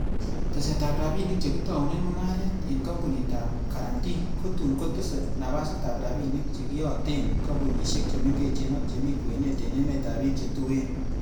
Tesetab rabinik che kitounen mungaret, en kompunitab Guarantee kotun kotese napasitab rabinik chekiyoten kompunisiek che mengechen ak chemi kwenet, en emetab bik che tuen.